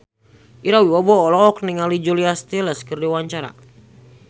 Ira Wibowo olohok ningali Julia Stiles keur diwawancara